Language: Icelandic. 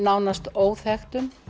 óþekktum